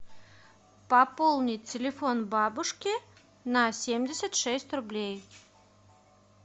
пополнить телефон бабушки на семьдесят шесть рублей